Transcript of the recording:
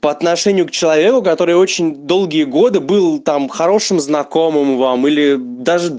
по отношению к человеку который очень долгие годы был там хорошим знакомым вам или даже д